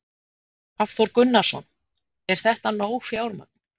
Hafþór Gunnarsson: Er þetta nóg fjármagn?